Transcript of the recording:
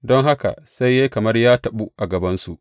Don haka sai ya yi kamar ya taɓu a gabansu.